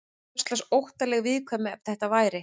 Hverslags óttaleg viðkvæmni þetta væri?